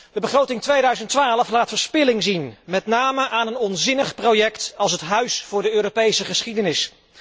De begroting 2012 laat verspilling zien, met name aan een onzinnig project als het Huis van de Europese geschiedenis.